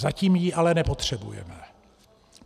Zatím ji ale nepotřebujeme.